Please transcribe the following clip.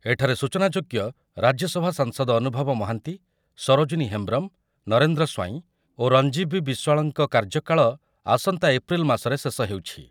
ଏଠାରେ ସୂଚନାଯୋଗ୍ୟ ରାଜ୍ୟସଭା ସାଂସଦ ଅନୁଭବ ମହାନ୍ତି, ସରୋଜିନୀ ହେମ୍ବ୍ରମ, ନରେନ୍ଦ୍ର ସ୍ୱାଇଁ ଓ ରଞ୍ଜିବୀ ବିଶ୍ୱାଳଙ୍କ କାର୍ଯ୍ୟକାଳ ଆସନ୍ତା ଏପ୍ରିଲ୍ ମାସରେ ଶେଷ ହେଉଛି ।